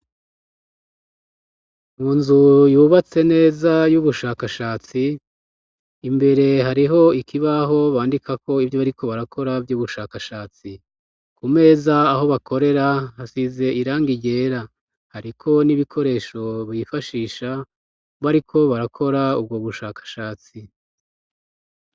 Mu nzu yubatse neza y'ubushakashatsi imbere hariho ikibaho bandikako ivyo bari ko barakora vy'ubushakashatsi ku meza aho bakorera hasize iranga ryera, ariko n'ibikoresho bifashisha b, ariko barakora ubwo gushaka achatsi.